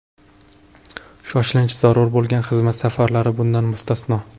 Shoshilinch zarur bo‘lgan xizmat safarlari bundan mustasno.